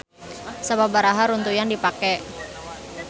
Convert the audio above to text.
Sababaraha runtuyan dipake.